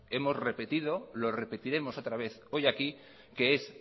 hemos repetido lo repetiremos otra vez hoy aquí que es